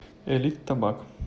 элит табак